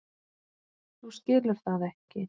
Þú skilur það ekki.